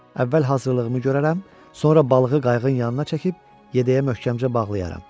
Əvvəl hazırlığımı görərəm, sonra balığı qayığın yanına çəkib yədəyə möhkəmcə bağlayaram.